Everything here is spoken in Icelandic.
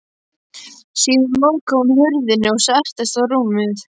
Síðan lokaði hún hurðinni og settist á rúmið.